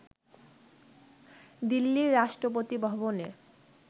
দিল্লির রাষ্ট্রপতি ভবনে